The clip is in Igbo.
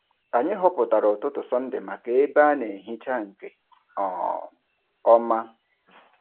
Anyị họpụtara ụtụtụ Sọnde maka ebe a na-ehicha nke um ọma.